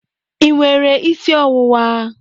Ị nwere isi ọwụwa?